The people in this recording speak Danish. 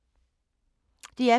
DR P2